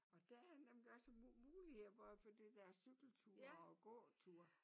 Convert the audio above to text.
Og der er nemlig også muligheder for det der cykelture og gåture